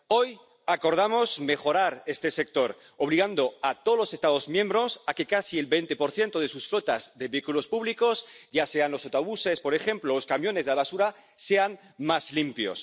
Hoy acordamos mejorar este sector, obligando a todos los Estados miembros a que casi el 20 de sus flotas de vehículos públicos ⸻ya sean los autobuses, por ejemplo, o los camiones de la basura⸻ sea más limpio.